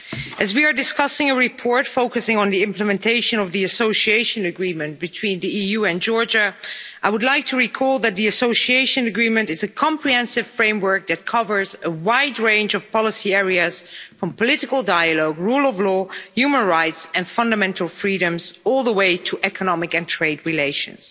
As we are discussing a report focusing on the implementation of the Association Agreement between the EU and Georgia, I would like to recall that the Association Agreement is a comprehensive framework that covers a wide range of policy areas from political dialogue, rule of law, human rights and fundamental freedoms, all the way to economic and trade relations.